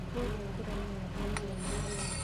Kũrĩa kũrauma ndogo nene